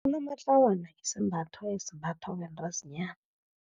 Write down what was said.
Unomatlawana isembatho esimbathwa bentazinyana.